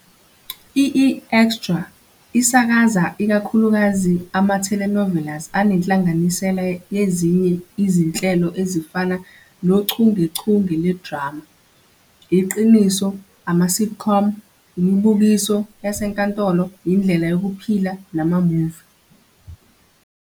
I-eExtra isakaza ikakhulukazi ama-telenovelas anenhlanganisela yezinye izinhlelo ezifana nochungechunge lwedrama, iqiniso, ama-sitcom, imibukiso yasenkantolo, indlela yokuphila nama-movie